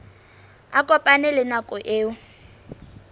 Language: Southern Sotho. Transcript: a kopane le nako eo